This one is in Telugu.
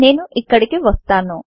నేను ఇక్కడికి వస్తాను